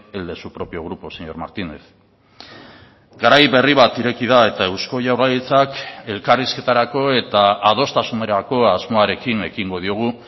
el de su propio grupo señor martínez garai berri bat ireki da eta eusko jaurlaritzak elkarrizketarako eta adostasunerako asmoarekin ekingo diogu